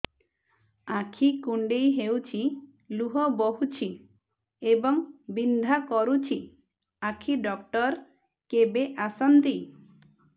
ଆଖି କୁଣ୍ଡେଇ ହେଉଛି ଲୁହ ବହୁଛି ଏବଂ ବିନ୍ଧା କରୁଛି ଆଖି ଡକ୍ଟର କେବେ ଆସନ୍ତି